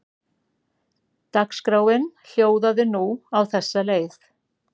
Dagskráin hljóðaði nú á þessa leið